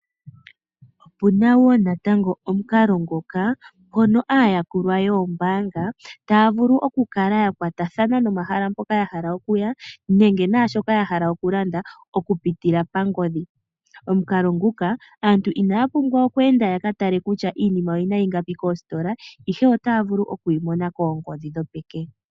Opuna wo omukalo ngoka hono aayakulwa yombaanga taya vulu oku kala yakwathana nomahala mpoka yahala okuya nenge naashoka yahala oku landa okupitila pangodhi. Omukalo nguka aantu inaya pumbwa okweenda ya katale kutya iinima oyina ingapi koositola ihe otaya vulu okwiimona koongodhi dhopeke.